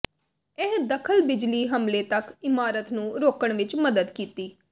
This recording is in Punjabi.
ਇਹ ਦਖਲ ਬਿਜਲੀ ਹਮਲੇ ਤੱਕ ਇਮਾਰਤ ਨੂੰ ਰੋਕਣ ਵਿੱਚ ਮਦਦ ਕੀਤੀ